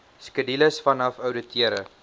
skedules vanaf ouditeure